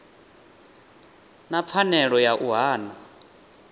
na pfanelo ya u hana